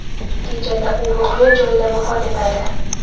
Natijada u voqea joyida vafot etadi.